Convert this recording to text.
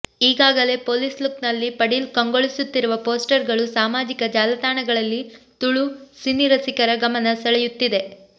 ಈಗಾಗಲೇ ಪೊಲೀಸ್ ಲುಕ್ನಲ್ಲಿ ಪಡೀಲ್ ಕಂಗೊಳಿಸುತ್ತಿರುವ ಪೋಸ್ಟರ್ಗಳು ಸಾಮಾಜಿಕ ಜಾಲತಾಣಗಳಲ್ಲಿ ತುಳು ಸಿನಿರಸಿಕರ ಗಮನ ಸೆಳೆಯುತ್ತಿದೆ